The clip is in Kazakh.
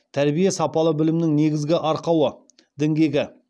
тәрбие сапалы білімнің негізгі арқауы діңгегі